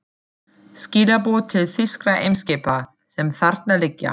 Skilaboð til þýskra eimskipa, sem þarna liggja.